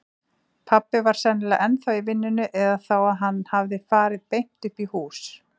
Pabbi var sennilega ennþá í vinnunni eða þá að hann hafði farið beint uppí hús.